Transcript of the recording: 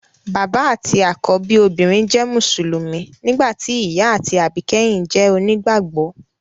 Bàbá àti àkọ́bí obìnrin jẹ́ mùsùlùmí, nígbà tí ìyá àti àbíkẹ́yìn jẹ́ onígbàgbọ́